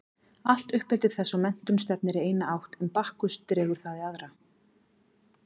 Allt uppeldi þess og menntun stefnir í eina átt en Bakkus dregur það í aðra.